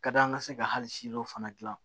Ka da an ka se ka hali si dɔ fana dilan